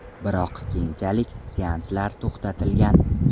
Biroq keyinchalik seanslar to‘xtatilgan.